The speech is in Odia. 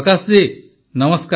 ପ୍ରକାଶ ଜୀ ନମସ୍କାର